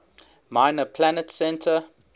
minor planet center